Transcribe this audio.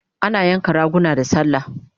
Ana yanka raguna da sallah